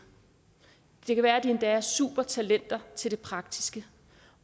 det kan endda være at de er supertalenter til det praktiske